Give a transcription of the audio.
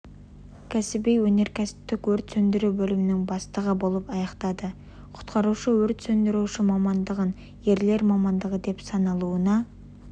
кәсіби өнеркәсіптік өрт сөндіру бөлімінің бастығы болып аяқтады құтқарушы-өрт сөндіруші мамандығын ерлер мамандығы деп саналуына